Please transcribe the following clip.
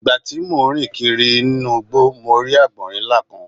Ìgbà tí mo ń rìn kiri nínú mo rí àgbọ̀rín ńlá kan.